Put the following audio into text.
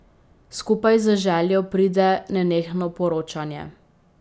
Skupaj z željo pride nenehno poročanje.